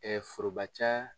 Ɛɛ foroba ca